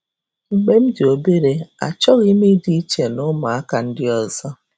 Mgbe m dị obere, achọghị m ịdị iche ná ụmụaka um ndị ọzọ.